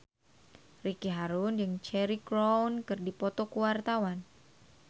Ricky Harun jeung Cheryl Crow keur dipoto ku wartawan